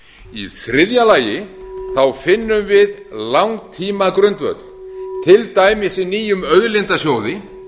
í þriðja lagi finnst við langtímagrundvöll til dæmis í nýjum auðlindasjóði